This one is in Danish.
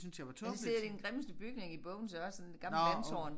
Og så sidder de i den grimmeste bygning i Bogense også sådan et gammelt vandtårn